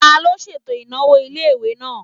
Taló ṣètò ìnáwó ilé-ìwé náà?